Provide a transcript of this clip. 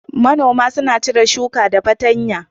Manoma suna cire shuka da fartanya